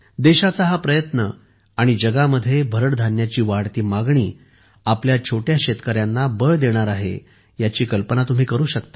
देशाचा हा प्रयत्न आणि जगामध्ये भरड धान्याची वाढती मागणी आपल्या छोट्या शेतकऱ्यांना बळ देणार आहे याची कल्पना तुम्ही करू शकता